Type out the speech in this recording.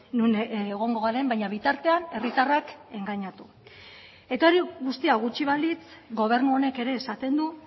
non egongo garen baina bitartean herritarrak engainatu eta hori guztia gutxi balitz gobernu honek ere esaten du